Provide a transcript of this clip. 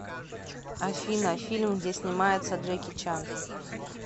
афина фильм где снимается джеки чан